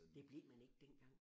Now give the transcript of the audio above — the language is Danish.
Det blev man ikke dengang